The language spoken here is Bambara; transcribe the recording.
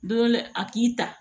Don dɔ la a k'i ta